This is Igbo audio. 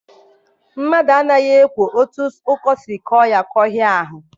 Mmadụ anaghị ekwo otu ọkọ siri kọọ ya kọhịa ahụ.